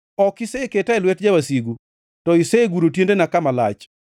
Ok iseketa e lwet jawasigu to iseguro tiendena kama lach.